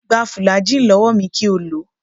Gba fùlàgíì lọ́wọ́ mi kí o lò ó